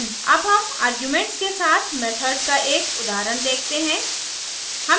अब हम आर्ग्यूमेंट्स के साथ मेथड का एक उदहारण देखते हैं